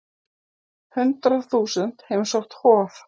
Hundrað þúsund heimsótt Hof